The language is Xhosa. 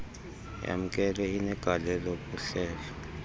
yamkelwe inegalelo kuhlelo